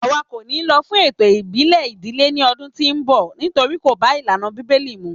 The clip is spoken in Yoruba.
Àwa kò ni lọ fún ètò ìbílè ìdílé ní ọdún tí o nbọ nítorí kò bá ìlànà bíbélì mu